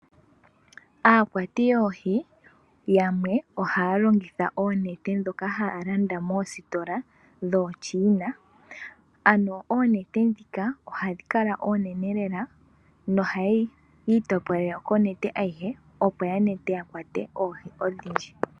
Aakwati yoohi yamwe ohaya longitha oonete dhoka haya landa moositola dhoo China, ano oonete dhika ohadhi kala oonene lela, nohaye itopolele konete ayehe opo ya nete ya kwate oohi odhindji.